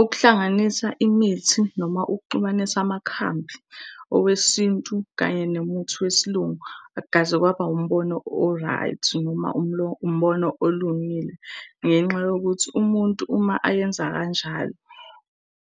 Ukuhlanganisa imithi noma ukuxubanisa amakhambi, owesintu kanye nemuthi wesiLungu akukaze kwaba wumbono o-right, noma umbono olungile. Ngenxa yokuthi umuntu uma ayenza kanjalo